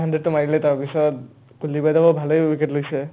hundred টো মাৰিলে তাৰপিছত কুলদ্বীপহঁতেও ভালে wicket লৈছে